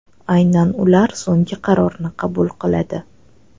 Aynan ular so‘nggi qarorni qabul qiladi.